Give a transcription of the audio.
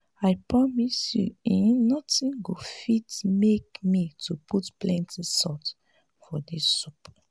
i promise you eh nothing go fit make me to put plenty salt for dis soup